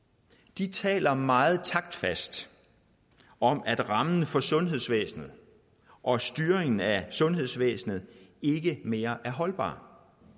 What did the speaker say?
de taler meget taktfast om at rammen for sundhedsvæsenet og styringen af sundhedsvæsenet ikke mere er holdbare